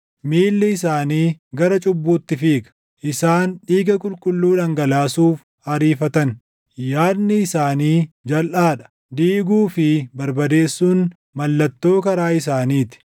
Miilli isaanii gara cubbuutti fiiga; isaan dhiiga qulqulluu dhangalaasuuf ariifatan. Yaadni isaanii jalʼaa dha; diiguu fi barbadeessuun mallattoo karaa isaanii ti.